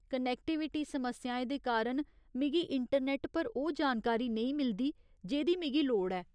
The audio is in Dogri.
कनेक्टिविटी समस्याएं दे कारण मिगी इंटरनेट पर ओह् जानकारी नेईं मिलदी जेह्दी मिगी लोड़ ऐ।